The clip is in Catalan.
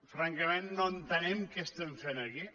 francament no entenem què estem fent aquí